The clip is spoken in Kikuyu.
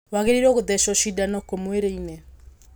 Waagĩrĩiruo gũthecwo cindano kũ mwĩrĩ-inĩ?